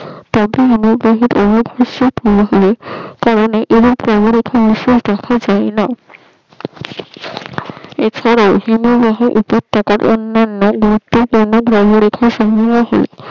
এ ছারা অন্নান